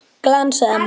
Glans eða matt?